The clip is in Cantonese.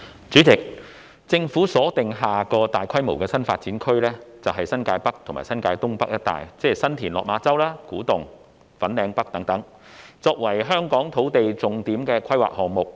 主席，政府把下個大規模的新發展區鎖定為新界北及新界東北一帶，即新田/落馬洲、古洞及粉嶺北等，作為香港的重點土地規劃項目。